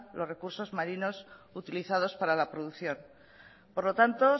los recursos marinos utilizados para la producción por lo tanto